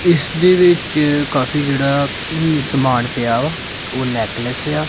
ਇਸ ਦੇ ਵਿੱਚ ਕਾਫੀ ਜਿਹੜਾ ਸਮਾਨ ਪਿਆ ਉਹ ਨੈਕਲੈਸ ਆ।